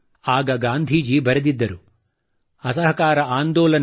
ಆಗ ಗಾಂಧೀಜಿ ಬರೆದಿದ್ದರು ಅಸಹಕಾರ ಆಂದೋಲನ